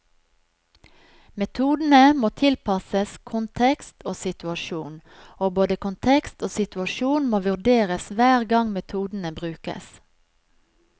Metodene må tilpasses kontekst og situasjon, og både kontekst og situasjon må vurderes hver gang metodene brukes.